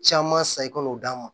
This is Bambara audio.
Caman san i ka n'o d'a ma